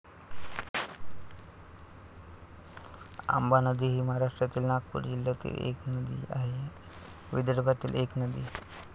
आंबा नदी ही महाराष्ट्रातील नागपूर जिल्ह्यातील एक नदी आहे. विदर्भातील एक नदी.